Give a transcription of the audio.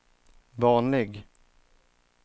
vanlig